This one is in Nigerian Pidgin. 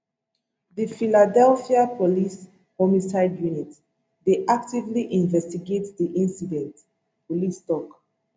di philadelphia police homicide unit dey actively investigate di incident police tok